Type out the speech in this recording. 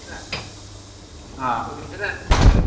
ହେଲା ଏଇ ପାଞ୍ଚ ଛ ଦିନ ଭିତରେ ଆମେ ପଳେଇବା।